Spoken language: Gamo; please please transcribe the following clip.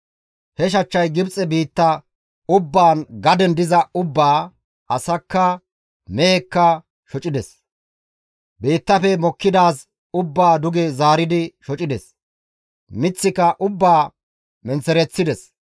He shachchay Gibxe biitta ubbaan gaden diza ubbaa, asakka mehekka shocides; biittafe mokkidaaz ubbaa duge zaaridi shocides; miththika ubbaa menththereththides.